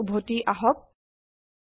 স্লাইডলৈ উভতি আহক